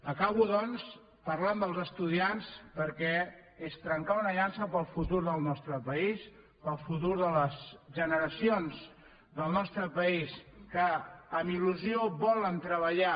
acabo doncs parlant dels estudiants perquè és trencar una llança pel futur del nostre país pel futur de les generacions del nostre país que amb il·lusió volen treballar